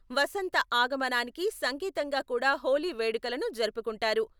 వసంత ఆగమనానికి సంకేతంగా కూడా హోలీ వేడుకలను జరుపుకుంటారు.